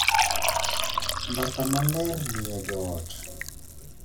Mbaka maler miyo jo ot